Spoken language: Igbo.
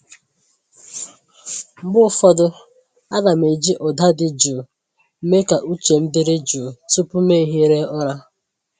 Mgbe ụfọdụ, ana m eji ụda dị jụụ mee ka uche m dịrị jụụ tupu m ehiere ụra.